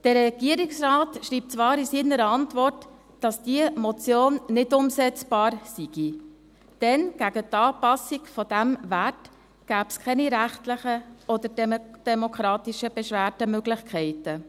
Der Regierungsrat schreibt zwar in seiner Antwort, dass diese Motion nicht umsetzbar sei, denn gegen die Anpassung dieser Werte gebe es keine rechtlichen oder demokratischen Beschwerdemöglichkeiten.